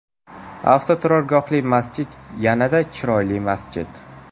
Avtoturargohli masjid yanada chiroyli masjid.